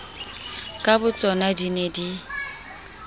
ka botsona di ne di